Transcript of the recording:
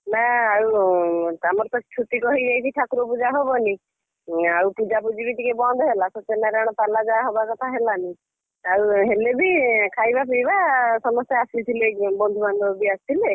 ନା ଆଉ ଆମର ତ ଛୁତୁକ ହେଇଯାଇଛି ଠାକୁର ପୂଜା ହବନି। ଆଉ ପୂଜାପୂଜିବି ଟିକେ ବନ୍ଦ ହେଲା ସତ୍ୟନାରାୟଣପାଲା ଯାହା ହବା କଥା ହେଲାନି ଆଉ ହେଲେବି ଖାଇବା ପିଇବା ସମସ୍ତେ ଆସିଥିଲେ ବନ୍ଧୁବାନ୍ଧବ ବି ଆସିଥିଲେ।